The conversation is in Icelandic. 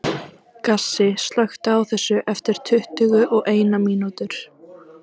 Gassi, slökktu á þessu eftir tuttugu og eina mínútur.